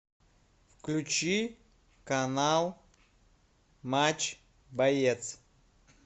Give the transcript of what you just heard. включи канал матч боец